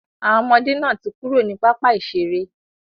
Àwọn ọmọdé náà ti kúrò ní pápá ìseré.